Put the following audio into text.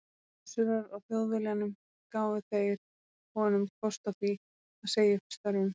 Össurar á Þjóðviljanum gáfu þeir honum kost á því að segja upp störfum.